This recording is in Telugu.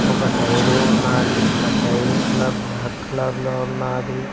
ఒక టైరు ఉన్నాది ఆ టైరు కలర్ బ్లాక్ కలర్లో ఉన్నాది.